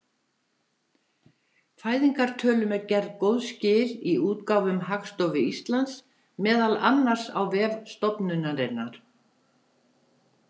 Fæðingartölum eru gerð góð skil í útgáfum Hagstofu Íslands, meðal annars á vef stofnunarinnar.